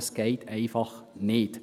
Das geht einfach nicht.